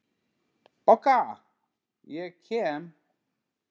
BOGGA: Ég kem!